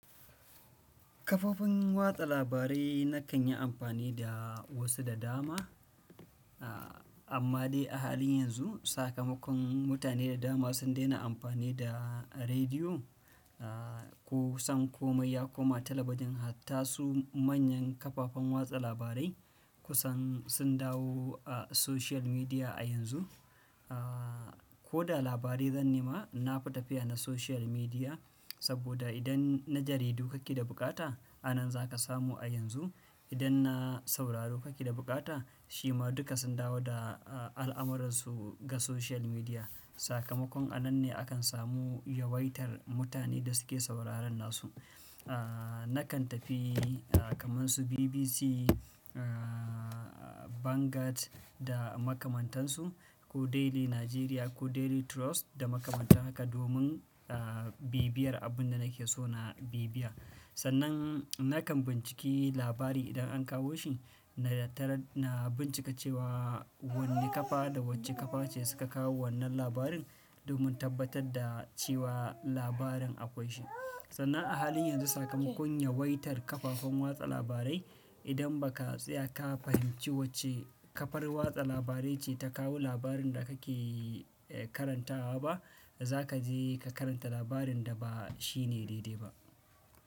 Kafofin watsa labarai nakan yi amfani da wasu da dama. Amma dai a halin yanzu sakamakon mutane da dama sun daina amfani da rediyo, a kusan komai ya komai talabijin hatta su manyan kafafen watsa labarai kusan sun dawo a social media a yanzu. A ko da labari zan nema, na fi tafiya na social media saboda idan na jaridu kake da buƙata, a nan za ka samu a yanzu. Idan na sauraro kake da buƙata, shi ma duka sun dawo da a al'amuransu ga social media. Sakamakon a nan ne akan samu yawaitar mutane da suke sauraron nasu. A nakan tafi a kaman su BBC, a Vanguard da makamantan su ko Daily Nigeria ko Daily Trust da makamanta haka domin a bibiyar abun da nake so na bibiya. Sannan nakan binciki labari idan an kawo shi, na tara na bincika cewa wanne kafa da wacce kafa ce suka kawo wannan labarin domin tabbatar da cewa labarin akwai shi. Sannan a halin yanzu sakamakon yawaitar kafafen watsa labarai idan ba ka tsaya ka fahimci wacce kafar watsa labarai ce ta kawo labarin da kake eh karantawa ba, za ka je ka karanta labarin da ba shi ne daidai ba.